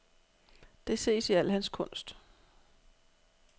Det ses i al hans kunst.